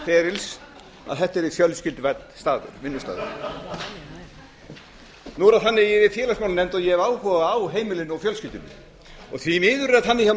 ferils að þetta yrði fjölskylduvænn vinnustaður nú er það þannig að ég er í félagsmálanefnd og ég hef áhuga á heimilinu og fjölskyldunni því miður er þannig